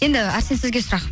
енді әрсен сізге сұрақ